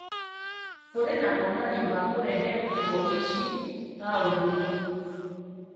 Kurĩ na mananio ma kũrehe nguo ici taũni-inĩ